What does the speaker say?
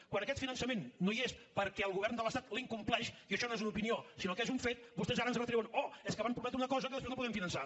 quan aquest finançament no hi és perquè el govern de l’estat l’incompleix i això no és una opinió sinó que és un fet vostès ara ens retreuen oh és que van prometre una cosa que després no poden finançar